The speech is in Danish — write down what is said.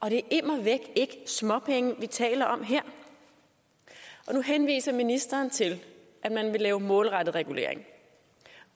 er immer væk ikke småpenge vi taler om her nu henviser ministeren til at man vil lave målrettet regulering